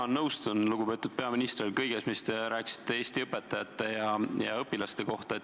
Jah, nõustun, lugupeetud peaminister, kõigega, mis te rääkisite Eesti õpetajate ja õpilaste kohta.